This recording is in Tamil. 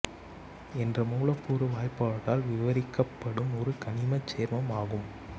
என்ற மூலக்கூற்று வாய்ப்பாட்டால் விவரிக்கப்படும் ஒரு கனிமச் சேர்மம் ஆகும்